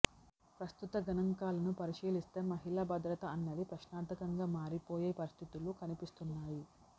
ప్రస్తుత గణాంకాలను పరిశీలిస్తే మహిళా భద్రత అన్నది ప్రశ్నార్థకంగా మారిపోయే పరిస్థితులు కనిపిస్తున్నాయి